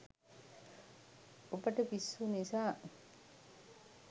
ඔබට පිස්සු නිසා